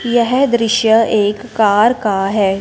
यह दृश्य एक कार का है।